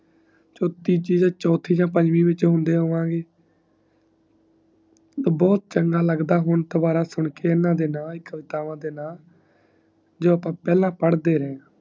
ਤੀਜੀ, ਚਉਥੀ ਤੇ ਪੰਜਵੀ ਵਿਚ ਹੁੰਦੇ ਹੋਵੇ ਵੀ ਬਹੁਤ ਚੰਗਾ ਲੱਗਦਾ ਹੁਣ ਦੋਬਾਰਾ ਨਾ ਕਵਿਤਾਵਾਂ ਦੇ ਨਾ ਜੋ ਅੱਪਾ ਪਹਿਲਾ ਪੜ੍ਹ ਦੇ ਰਹੇ ਆ